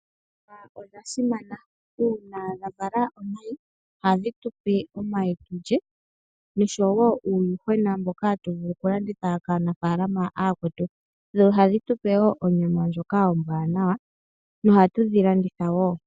Ol djuhwa odha siman. Uuna dha Vala omayi, ihadhi tupe omayi tulye, osho woo uuyuhwena mboka hatu vulu oku landitha kaanafalama aakwetu , dho ohadhi tupe onyama ndjoka ombwaanawa , noha tudhi landitha woo.